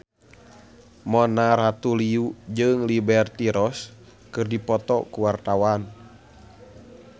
Mona Ratuliu jeung Liberty Ross keur dipoto ku wartawan